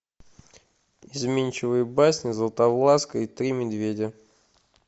изменчивые басни златовласка и три медведя